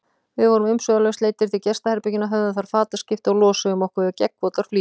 Við vorum umsvifalaust leiddir til gestaherbergjanna, höfðum þar fataskipti og losuðum okkur við gegnvotar flíkurnar.